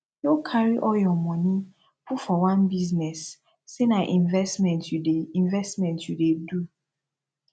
no carry all your money put for one business say na investment you dey investment you dey do